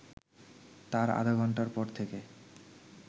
তার আধঘন্টার পর থেকে